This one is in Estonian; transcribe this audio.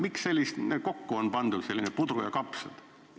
Miks on kokku pandud selline puder ja kapsad?